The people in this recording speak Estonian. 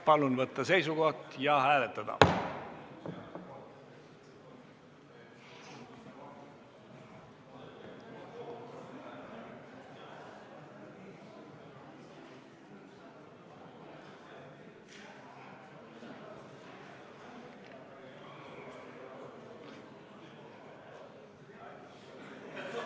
Palun võtta seisukoht ja hääletada!